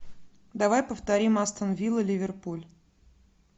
давай повторим астон вилла ливерпуль